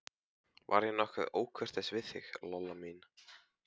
Var ég nokkuð ókurteis við þig, Lolla mín?